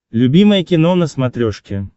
любимое кино на смотрешке